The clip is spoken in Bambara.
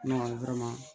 Ne kɔni